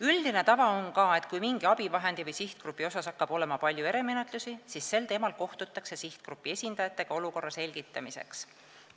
Üldine tava on ka, et kui mingi abivahendi või sihtgrupi puhul hakkab olema palju erimenetlusi, siis sel teemal kohtutakse sihtgrupi esindajatega olukorra selgitamiseks.